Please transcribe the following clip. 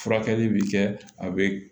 Furakɛli bi kɛ a be